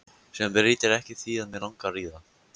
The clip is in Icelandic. Sem breytir ekki því að mig langar í það.